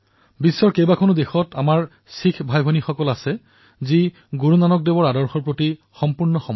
বিশ্বৰ বিভিন্ন দেশত বাস কৰা আমাৰ শিখ ভাইভনীসকল গুৰুনানক দেৱজীৰ আদৰ্শৰ প্ৰতি পূৰ্ণৰূপেৰে সমৰ্পিত